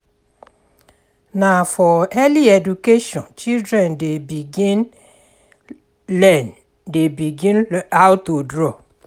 Na for early education children dey begin learn dey begin how to draw.